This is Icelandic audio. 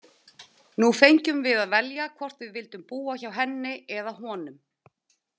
Nú fengjum við að velja hvort við vildum búa hjá henni eða honum.